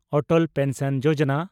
ᱚᱴᱚᱞ pension ᱡᱳᱡᱚᱱᱟ